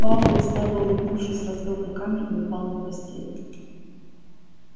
пауэлл слабо улыбнувшись развёл руками и упал на постель